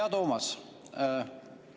Hea Toomas!